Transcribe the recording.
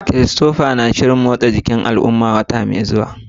Christopher yana shirin tsara ƙalubalen motsa jiki na al'umma a wata mai zuwa.